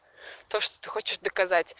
то что ты хочешь да